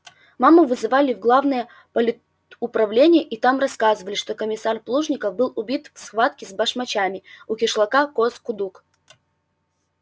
маму вызывали в главное политуправление и там рассказали что комиссар плужников был убит в схватке с басмачами у кишлака коз кудук